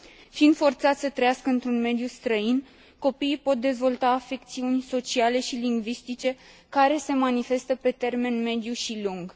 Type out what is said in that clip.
Fiind forțați să trăiască într un mediu străin, copiii pot dezvolta afecțiuni sociale și lingvistice care se manifestă pe termen mediu și lung.